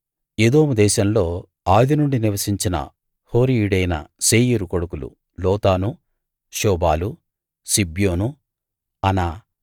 ఎదోము దేశంలో ఆదినుండీ నివసించిన హోరీయుడైన శేయీరు కొడుకులు లోతాను శోబాలు సిబ్యోను అనా